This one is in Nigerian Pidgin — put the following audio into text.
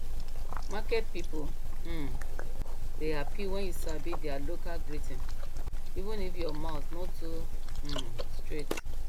market people um dey happy when you sabi their local greeting even if your mouth no too um straight